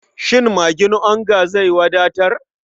Shin magin onga zai wadatar?